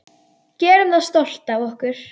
Gerum það stolt af okkur.